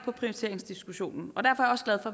på prioriteringsdiskussion og derfor er